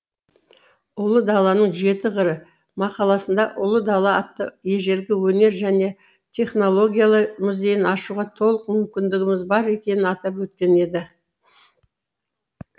ұлы даланың жеті қыры мақаласында ұлы дала атты ежелгі өнер және технологиялар музейін ашуға толық мүмкіндігіміз бар екенін атап өткен еді